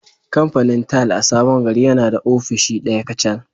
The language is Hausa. Kamfanin tile a Sabon Gari yana da ofishi ɗaya kacal